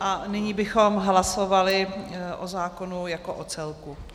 A nyní bychom hlasovali o zákonu jako o celku.